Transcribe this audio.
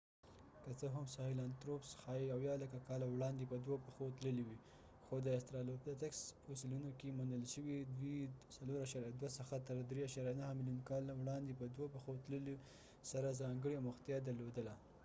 که څه هم ساهیلانتروپس ښايي 70 لکه کاله وړاندې په دوو پښو تللي وي خو د استرالوپیتاکس فوسیلونو کې موندل شوي دوی 4.2 څخه تر 3.9 ملیون کاله وړاندې په دوه پښو تللو سره ځانګړې اموختیا درلودله